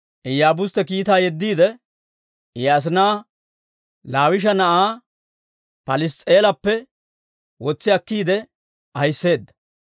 Iyaabustte kiitaa yeddiide, I asinaa Laawisha na'aa Pals's'i'eelappe wotsi akkiide ahiseedda.